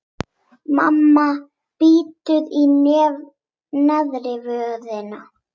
Mamma bítur í neðri vörina.